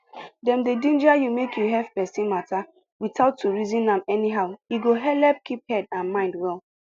dem dey ginger you make you hef person matter without to reason am anyhow e go helep keep head and mind well